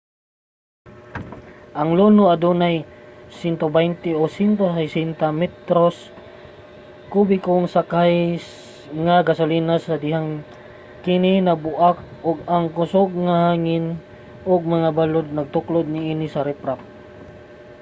ang luno adunay 120-160 metro kubikong sakay nga gasolina sa dihang kini nabuak ug ang kusog nga hangin ug mga balud natuklod niini sa riprap